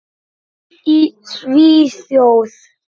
Í Svíþjóð